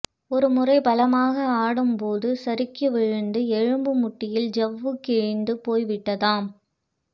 ஒருமுறை பலமாக ஆடும்போது சறுக்கி விழுந்து எலும்பு மூட்டில் ஜவ்வு கிழிந்து போய் விட்டதாம்